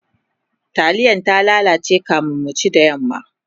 taliyar ta lalace kamin mu ci da yamma